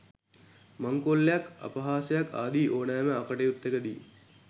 මංකොල්ලයක් අපහාසයක් ආදී ඕනෑම අකටයුත්තක දී